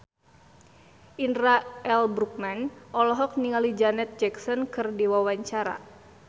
Indra L. Bruggman olohok ningali Janet Jackson keur diwawancara